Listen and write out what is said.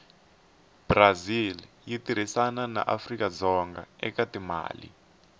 brazil yitirhisana naafrikadzonga ekatimale